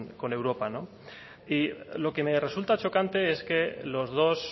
con europa y lo que me resulta chocante es que los dos